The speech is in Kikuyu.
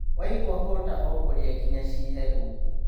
Waigũa hũta ũkũrĩa nginya ci hehu.